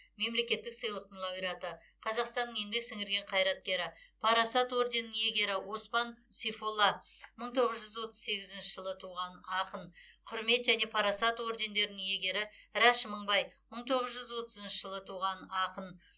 мемлекеттік сыйлықтың лауреаты қазақстанның еңбек сіңірген қайраткері парасат орденінің иегері оспан сейфолла мың тоғыз жүз отыз сегізінші жылы туған ақын құрмет және парасат ордендерінің иегері рәш мыңбай мың тоғыз жүз отызыншы жылы туған ақын